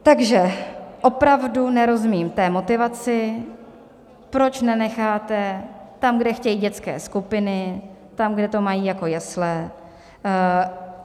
Takže opravdu nerozumím té motivaci, proč nenecháte tam, kde chtějí dětské skupiny, tam, kde to mají jako jesle.